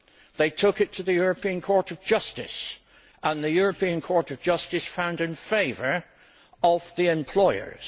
They took it to the European Court of Justice and the European Court of Justice found in favour of the employers.